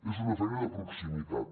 és una feina de proximitat